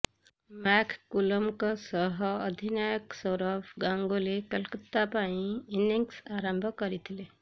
ମ୍ୟାକକୁଲମଙ୍କ ସହ ଅଧିନାୟକ ସୌରଭ ଗାଙ୍ଗୁଲି କୋଲକାତା ପାଇଁ ଇନିଂସ ଆରମ୍ଭ କରିଥିଲେ